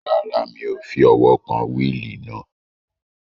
Rárá, mi ò fi ọwọ́ kan wíìlì náà